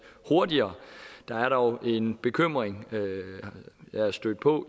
hurtigere der er dog en bekymring jeg er stødt på